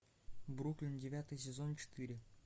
бруклин девятый сезон четыре